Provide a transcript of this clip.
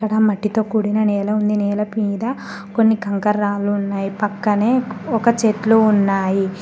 అక్కడ మట్టితో కూడిన నేల ఉంది నేల మీద కొన్ని కంకరాళ్లు ఉన్నాయి పక్కనే ఒక చెట్లు ఉన్నాయి.